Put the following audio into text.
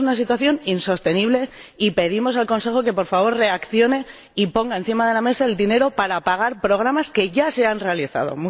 Esto es una situación insostenible, y pedimos al Consejo que, por favor, reaccione y ponga encima de la mesa el dinero para pagar programas que ya se han realizado.